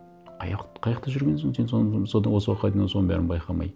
қай жақта жүргенсің сен соны осы уақытқа дейін оны соның бәрін байқамай